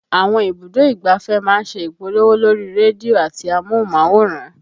Àwọn ibùdó ìgbáfẹ́ máa ń ṣe ìpolówó lórí rédíò àti amóhùnmáwòrán